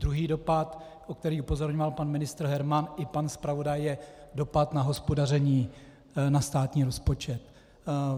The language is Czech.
Druhý dopad, na který upozorňoval pan ministr Herman i pan zpravodaj, je dopad na hospodaření, na státní rozpočet.